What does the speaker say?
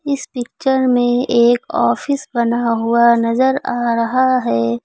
इस पिक्चर में एक ऑफिस बना हुआ नजर आ रहा है।